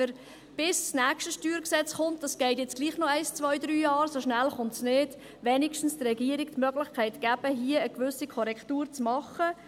Bis das nächste StG kommt – das dauert jetzt doch noch ein, zwei, drei Jahre, so schnell kommt es nicht –, geben wir damit der Regierung wenigsten die Möglichkeit, hier eine gewisse Korrektur zu machen.